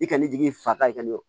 I ka ne jigi fa ye ka ɲɛ o